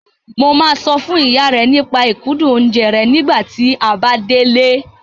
Mo máa sọ fún ìyá rẹ nípa ìkúndùn oúnjẹ rẹ nígbà tí a bá délé.